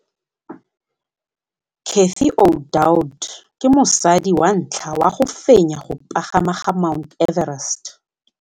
Cathy Odowd ke mosadi wa ntlha wa go fenya go pagama ga Mt Everest.